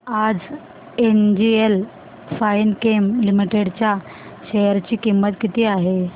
आज NGL Finechem Limited च्या share ची किंमत किती आहे